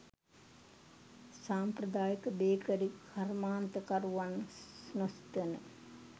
සාම්ප්‍රදායික බේකරි කර්මාන්ත කරුවන් නොසිතන